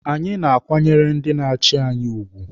Anyị na-akwanyere ndị na-achi anyị ugwu.